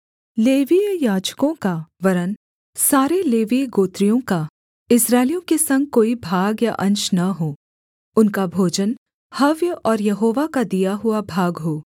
लेवीय याजकों का वरन् सारे लेवीय गोत्रियों का इस्राएलियों के संग कोई भाग या अंश न हो उनका भोजन हव्य और यहोवा का दिया हुआ भाग हो